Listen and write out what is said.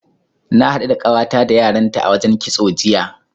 Na haɗu da ƙawata da yaranta a wajen kitso, jiya.